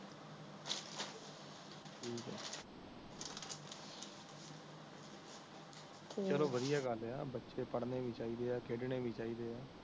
ਚਲੋ ਵਧਿਆ ਗੱਲ ਆ ਬਚੇ ਪੜ੍ਹਨੇ ਵੀ ਚਾਹੀਦੇ ਆ ਖੇਡਣੇ ਵੀ ਚਾਹੀਦੇ ਆ